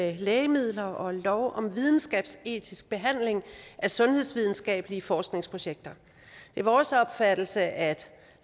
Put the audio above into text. med lægemidler og lov om videnskabsetisk behandling af sundhedsvidenskabelige forskningsprojekter det er vores opfattelse at